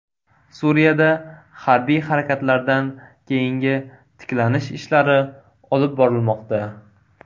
Suriyada harbiy harakatlardan keyingi tiklanish ishlari olib borilmoqda.